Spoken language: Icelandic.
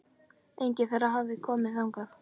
Enginn þeirra hafði komið þangað.